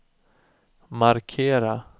markera